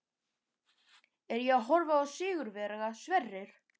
Er ég að horfa á sigurvegara, Sverrir?